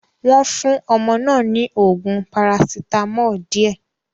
Wọ́n fún ọmọ náà ní oògùn paracetamol díẹ̀.